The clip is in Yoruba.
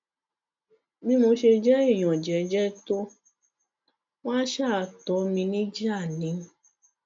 bí mo ṣe jẹ èèyàn jẹẹjẹ tó wọn àá ṣáà tó mi níjà ni